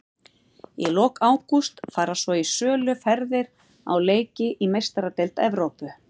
Í lok ágúst fara svo í sölu ferðir á leiki í Meistaradeild Evrópu.